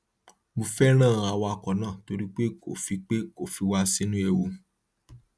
mo fẹràn awakọ náà torí pé kò fi pé kò fi wá sínú ewu